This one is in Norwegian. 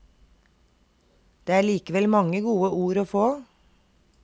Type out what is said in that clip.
Det er likevel mange gode ord å få.